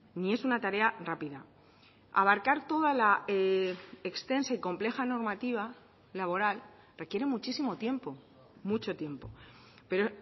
ni es una tarea rápida abarcar toda la extensa y compleja normativa laboral requiere muchísimo tiempo mucho tiempo pero